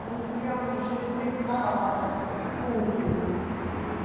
Como criança, a gente brincava, tudo, né?